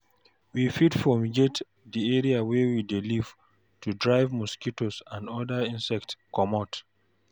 We fit fumigate di area wey we dey live to drive mosquitoes and oda insects comot